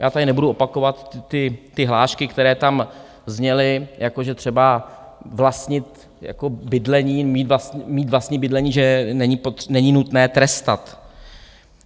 Já tady nebudu opakovat hlášky, které tam zněly, jako že třeba vlastnit bydlení, mít vlastní bydlení, že není nutné trestat.